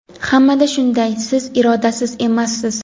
Hammada shunday, siz irodasiz emassiz.